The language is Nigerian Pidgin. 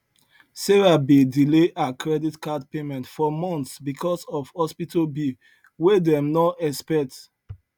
sarah been delay her credit card payment for months because of hospital bill wey dem no expect